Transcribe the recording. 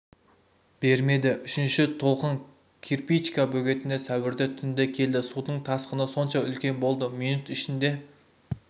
бермеді үшінші толқын кирпичка бөгетіне сәуірде түнде келді судың тасқыны сонша үлкен болды минут ішінде